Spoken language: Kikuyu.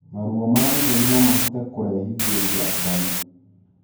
Maruo ma gĩthũri nomahote kurehithirĩa mbaru